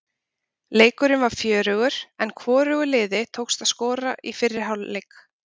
Leikurinn var fjörugur en hvorugu liðinu tókst að skora í fyrri hálfleik.